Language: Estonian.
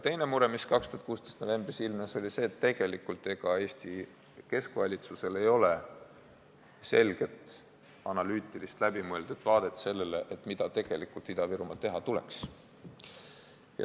Teine mure, mis 2016. aasta novembris ilmnes, oli see, et ega Eesti keskvalitsusel ei ole selget, analüütilist, läbimõeldud vaadet sellele, mida tegelikult Ida-Virumaal teha tuleks.